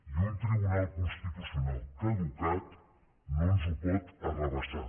i un tribunal constitucional caducat no ens ho pot arrabassar